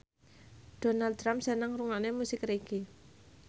Donald Trump seneng ngrungokne musik reggae